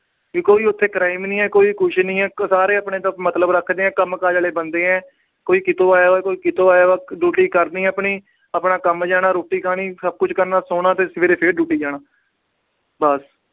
ਵੀ ਕੋਈ ਉਥੇ crime ਨੀ ਆ। ਕੋਈ ਕੁਛ ਨੀ ਆ। ਸਾਰੇ ਆਪਣੇ ਤੱਕ ਮਤਲਬ ਰੱਖਦੇ ਆ। ਕੰਮਕਾਜ ਵਾਲੇ ਬੰਦੇ ਆ। ਕੋਈ ਕਿਤੋ ਆਇਆ ਹੋਇਆ, ਕੋਈ ਕਿਤੋ ਆਇਆ ਹੋਇਆ। duty ਕਰਨੀ ਆਪਣੀ। ਆਪਣਾ ਕੰਮ ਜਾਣਾ। ਰੋਟੀ ਖਾਣੀ, ਸਭ ਕੁਛ ਕਰਨਾ ਤੇ ਸੌਣਾ, ਸਵੇਰੇ ਫਿਰ duty ਜਾਣਾ। ਬੱਸ।